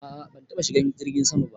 A'a ban taba shigan jirgin sama ba.